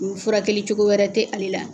U furakɛli cogo wɛrɛ tɛ ale la.